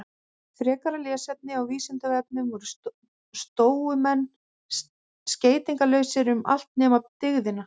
Frekara lesefni á Vísindavefnum: Voru stóumenn skeytingarlausir um allt nema dygðina?